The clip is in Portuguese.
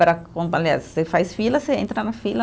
Para com, aliás, você faz fila, você entra na fila.